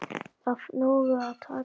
Af nógu að taka.